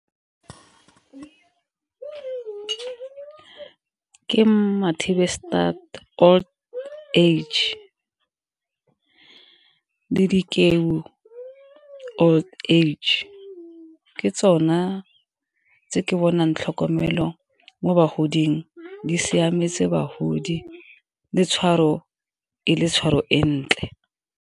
Ke Mathibestat old age, le old age ke tsona tse ke bonang tlhokomelo mo bagoding di siametse bagodi le tshwaro e le tshwaro e ntle.